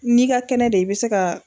N'i ka kɛnɛ de i be se ka